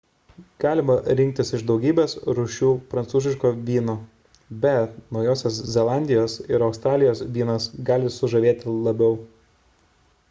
galima rinktis iš daugybės rūšių prancūziško vyno bet naujosios zelandijos ir australijos vynas gali sužavėti labiau